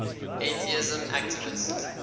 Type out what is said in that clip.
atheism activists